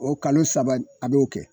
O kalo saba nin a b'o kɛ